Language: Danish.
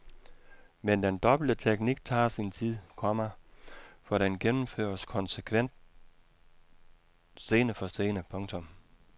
Men den dobbelte teknik tager sin tid, komma for den gennemføres konsekvent scene for scene. punktum